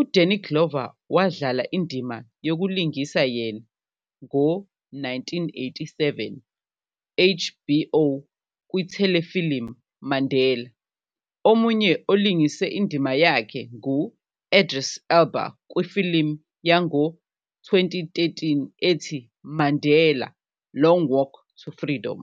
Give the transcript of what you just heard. U-Danny Glover wadlala indima yokulingisa yena ngo 1987 HBO kwi-telefilm "Mandela". Omunye olingise indima yakhe ngu-Idris Elba kwifilimu yango 2013 ethi, "Mandela - Long Walk to Freedom".